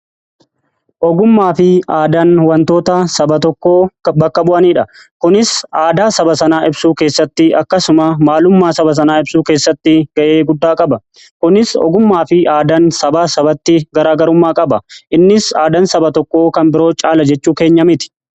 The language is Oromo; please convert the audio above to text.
Ogummaa fi aadaan wantoota saba tokkoo bakka bu'aniidha. kunis aadaa saba sanaa ibsuu keessatti akkasuma maalummaa saba sanaa ibsuu keessatti ga'e guddaa qaba. Kunis ogummaa fi aadaan sabaa sabatti garaa garummaa qaba. Innis aadaan saba tokko kan biroo caala jechuu keenya miti.